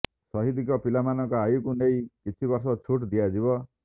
ଶହିଦଙ୍କ ପିଲାମାନଙ୍କ ଆୟୁକୁ ନେଇ କିଛି ବର୍ଷ ଛୁଟ୍ ଦିଆଯିବ